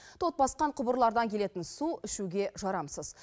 тот басқан құбырлардан келетін су ішуге жарамсыз